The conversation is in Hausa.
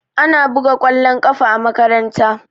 Ana buga kwallon ƙafa a makaranta